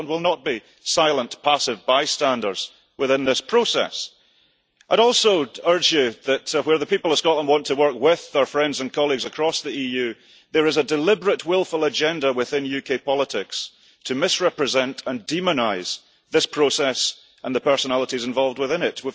Scotland will not be silent, passive, bystanders within this process. I would also urge you that while the people of Scotland want to work with our friends and colleagues across the EU, there is a deliberate wilful agenda within UK politics to misrepresent and demonise this process and the personalities involved within it.